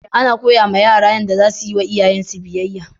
Ana koya ma yara Yanda za su yiwa iyayensu biyayya